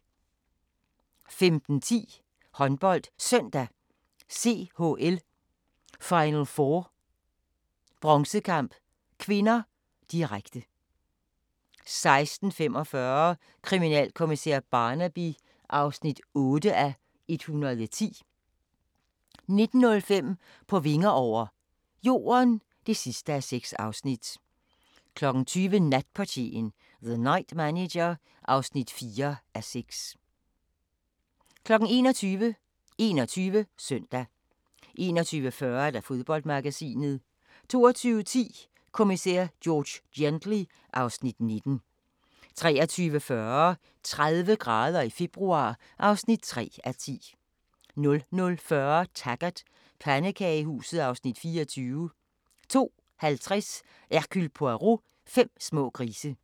15:10: HåndboldSøndag: CHL Final4 bronzekamp (k), direkte 16:45: Kriminalkommissær Barnaby (8:110) 19:05: På vinger over – Jorden (6:6) 20:00: Natportieren – The Night Manager (4:6) 21:00: 21 Søndag 21:40: Fodboldmagasinet 22:10: Kommissær George Gently (Afs. 19) 23:40: 30 grader i februar (3:10) 00:40: Taggart: Pandekagehuset (Afs. 24) 02:50: Hercule Poirot: Fem små grise